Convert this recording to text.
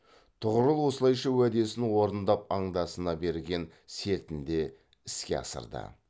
тұғырыл осылайша уәдесін орындап андасына берген сертінде іске асырды